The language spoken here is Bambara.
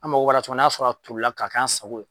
An mago b'a la cogoya min n'a sɔrɔ o tolila ka k'an sago ye